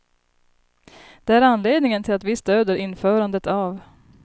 Det är anledningen till att vi stöder införandet av.